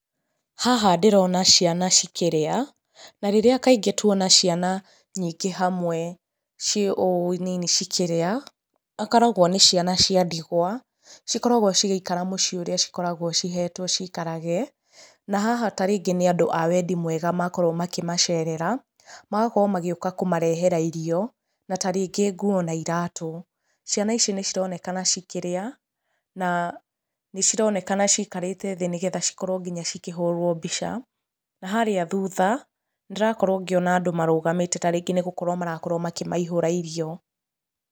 Haha ndĩrona ciana cikĩrĩa, na rĩrĩa kaingĩ tuona ciana nyingĩ hamwe ciĩ ũũ nini cikĩrĩa ikoragwa nĩciana cia ndigũa cikoragwa cigĩikara mũciĩ ũríĩ cikoragwa cihetwe ciikarage, na haha ta rĩngĩ nĩandũ awendi mwega makorwo makĩmacerera, magakorwo magĩũka kũmarehera irio na ta rĩngĩ nguo na iratũ, ciana ici nĩcironekana cikĩrĩa na nĩcronekana cikarĩte thĩ nĩgetha cikorwo nginya cikĩhũrwo mbica, na harĩa thutha ndĩrakorwo ngĩona andũ marũgamĩte ta rĩngĩ nĩgũkorwo marakorwo makĩmaihũra irio.